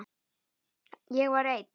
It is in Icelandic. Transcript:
Ég var einn.